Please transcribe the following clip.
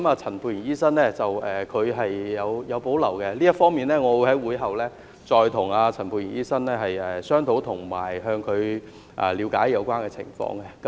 陳沛然議員對此有保留，這方面我會在會議後再與陳沛然議員商討及向他了解有關情況。